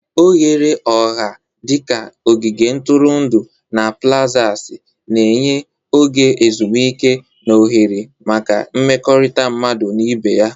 Oghere ọha dị ka ogige ntụrụndụ na plazasi na-enye oge ezumike na ohere maka mmekọrịta mmadụ na ibe ya.